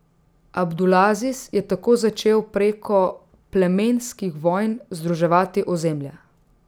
Abdulaziz je tako začel preko plemenskih vojn združevati ozemlja.